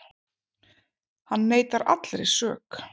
Hann neitar allri sök